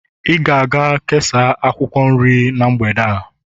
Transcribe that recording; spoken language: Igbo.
ị ga-aga kesaa akwukwor nrie n' mgbede a